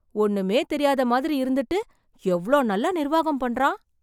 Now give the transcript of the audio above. ஒண்ணுமே தெரியாத மாதிரி இருந்திட்டு எவ்வளோ நல்லா நிர்வாகம் பண்றான்